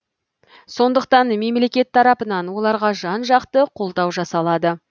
сондықтан мемлекет тарапынан оларға жан жақты қолдау жасалады